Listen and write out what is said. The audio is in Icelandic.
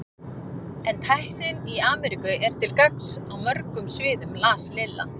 En tæknin í Ameríku er til gagns á mörgum sviðum las Lilla.